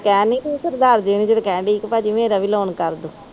ਤੂੰ ਕਹਿ ਨਹੀਂ ਰਹਿ ਸਰਦਾਰ ਜੀ ਨੂੰ, ਮੇਰਾ ਵੀ ਲੋਨ ਕਰ ਦੋ।